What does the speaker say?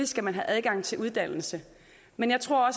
skal man have adgang til uddannelse men jeg tror